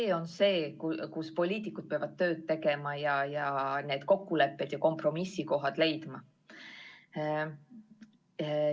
See on see, kus poliitikud peavad tööd tegema ning kokkulepped ja kompromissid leidma.